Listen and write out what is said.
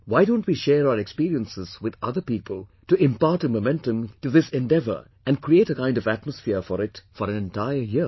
Why don't we share our experiences with other people to impart a momentum to this endeavour and create a kind of atmosphere for it for an entire year